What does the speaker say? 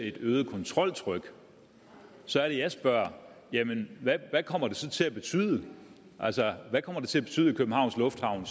et øget kontroltryk så er det jeg spørger jamen hvad kommer det så til at betyde altså hvad kommer det til at betyde i københavns lufthavn